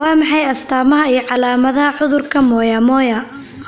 Waa maxay astaamaha iyo calaamadaha cudurka Moyamoya?